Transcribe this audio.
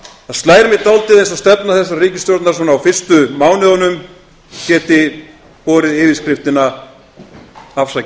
það slær mig dálítið eins og stefna þessarar ríkisstjórnar svona á fyrstu mánuðunum geti borið yfirskriftina afsakið